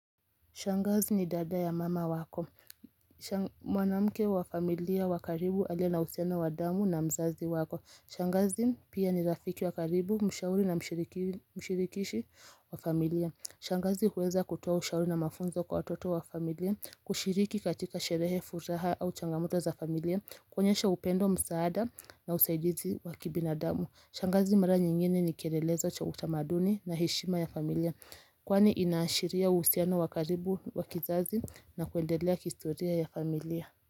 Shangazi ni dada ya mama wako. Mwanamke wa familia wa karibu aliye na uhusiano wa damu na mzazi wako. Shangazi pia ni rafiki wakaribu, mshauri na mshirikishi wa familia. Shangazi huweza kutoa ushauri na mafunzo kwa watoto wafamilia, kushiriki katika sherehe furaha au changamuta za familia, kuonyesha upendo msaada na usaidizi wakibinadamu. Shangazi mara nyingine ni kieelelezo cha utamaduni na heshima ya familia Kwani inashiria usiana wakaribu wakizazi na kuendelea kistoria ya familia.